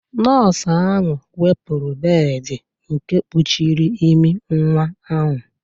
Nọọsụ ahụ wepụrụ bead nke gbochiri imi nwa ahụ